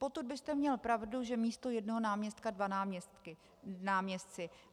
Potud byste měl pravdu, že místo jednoho náměstka dva náměstci.